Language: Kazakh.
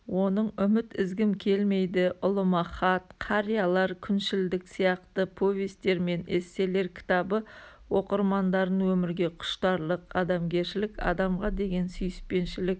оның үміт үзгім келмейді ұлыма хат қариялар күншілдік сияқты повестер мен эсселер кітабы оқырмандарын өмірге құштарлық адамгершілік адамға деген сүйіспеншілік